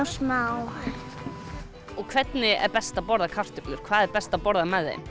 smá og hvernig er best að borða kartöflur hvað er best að borða með þeim